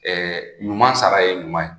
Ɛɛ ɲuman sara ye ɲuman ye